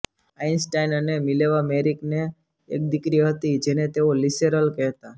Einstein અને Mileva Maric ને એક દીકરી હતી જેને તેઓ લિસેરલ કહેતા